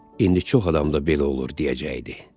İndi çox adamda belə olur deyəcəkdi.